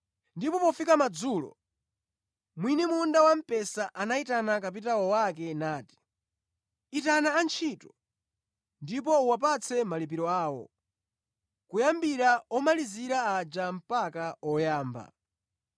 “Ndipo pofika madzulo, mwini munda wamphesa anayitana kapitawo wake nati, ‘Itana antchito ndipo uwapatse malipiro awo, kuyambira omalizira aja mpaka oyamba.’